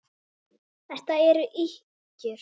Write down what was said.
Þetta eru ýkjur!